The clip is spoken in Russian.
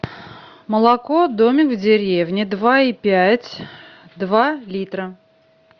молоко домик в деревне два и пять два литра